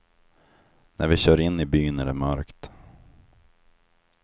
När vi kör in i byn är det mörkt.